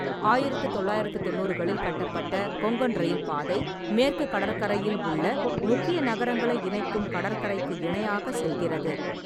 ஆயிரத்து தொள்ளாயிரத்து தொண்ணூறுகளில் கட்டப்பட்ட கொங்கன் ரயில் பாதை, மேற்கு கடற்கரையில் உள்ள முக்கிய நகரங்களை இணைக்கும் கடற்கரைக்கு இணையாக செல்கிறது.